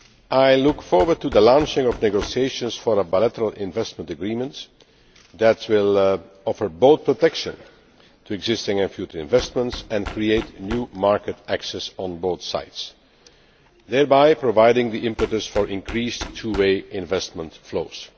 I look forward to the launching of negotiations for a bilateral investment agreement that will offer both protection to existing and future investments and create new market access on both sides, thereby providing the impetus for increased two way investment flows.